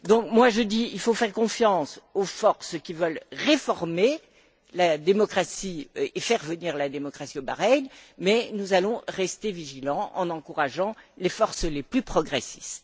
Moi, je dis qu'il faut faire confiance aux forces qui veulent réformer la démocratie et faire venir la démocratie au Bahreïn, mais nous allons rester vigilants en encourageant les forces les plus progressistes.